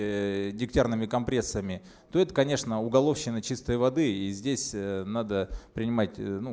дегтярными компрессами то это конечно уголовщина чистой воды и здесь надо принимать ну